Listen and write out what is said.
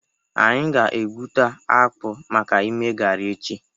Anyị ga-egwuta akpụ maka ime garị echi.